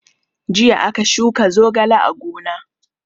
Jiya aka shuka zogale a gona.